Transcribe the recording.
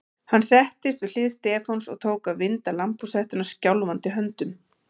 Hann settist við hlið Stefáns og tók að vinda lambhúshettuna skjálfandi höndum.